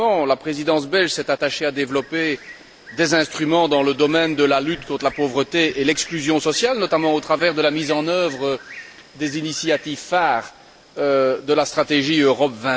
La Présidence belge s'est attachée à développer des instruments dans le domaine de la lutte contre la pauvreté et l'exclusion sociale, notamment au travers de la mise en œuvre des initiatives phare de la stratégie Europe